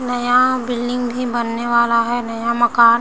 नया बिल्डिंग भी बनने वाला है नया मकान --